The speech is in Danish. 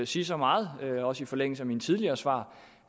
sige så meget også i forlængelse af mine tidligere svar